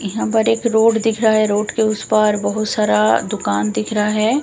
यहां पर एक रोड दिख रहा है रोड के उस पार बहुत सारा दुकान दिख रहा है।